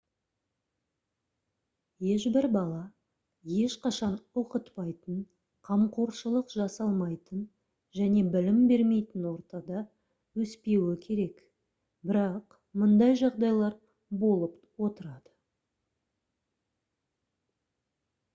ешбір бала ешқашан оқытпайтын қамқоршылық жасалмайтын және білім бермейтін ортада өспеуі керек бірақ мұндай жағдайлар болып отырады